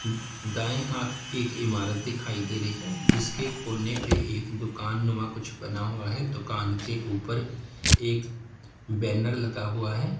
दाई हाथ एक इमारत दिखाई दे रही है जिसके कोने पे एक दुकान नुमा कुछ बना हुआ है दुकान के ऊपर एक बैनर लगा हुआ है।